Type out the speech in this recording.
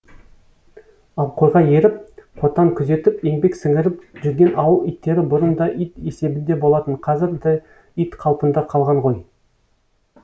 ал қойға еріп қотан күзетіп еңбек сіңіріп жүрген ауыл иттері бұрын да ит есебінде болатын қазір де ит қалпында қалған ғой